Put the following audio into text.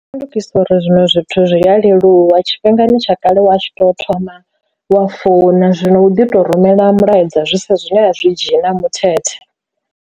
Shandukisa uri zwiṅwe zwithu zwi a leluwa tshifhingani tsha kale wa tshi to thoma wa founa, zwino u ḓi to rumela mulaedza zwi sa zwine zwi dzhena muthethe.